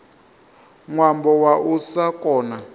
ṅwambo wa u sa kona